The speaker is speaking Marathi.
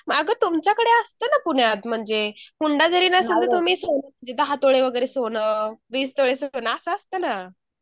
अगं तुमच्याकडे असतं ना पुण्यात म्हणेज हुंडा जरी नसलं तर तुम्ही म्हणजे दहा तोळे सोन वगैरे वीस तोळे सोन असं असता ना